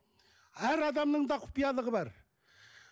әр адамның да құпиялығы бар